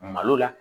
Malo la